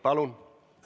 Palun!